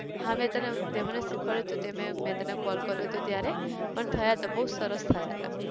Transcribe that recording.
હા મેં તને અમ તે મને શીખવાડયું હતું તે મેં, મેં તને call કર્યો હતો ત્યારે પણ થયા હતા, બઉ સરસ થયા હતા